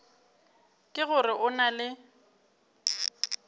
ke gore o na le